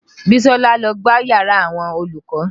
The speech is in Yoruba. Bisola ló gbá yàrá àwọn olùkọ́